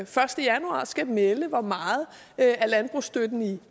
første januar skal melde ud hvor meget af landbrugsstøtten i